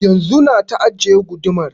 Yanzun na ta ajiye gudumar